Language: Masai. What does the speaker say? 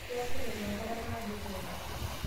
Keya serkali enkata naado etuelak